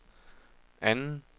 anden